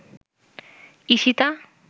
Ishita